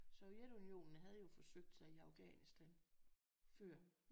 Sovjetunionen havde jo forsøgt sig i Afghansitan før